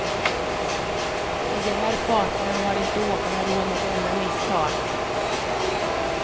I de här farterna har inte åkarna råd med ett enda misstag.